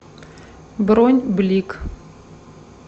бронь блик